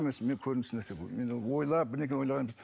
мен ойлап бірдеңке ойлаған емес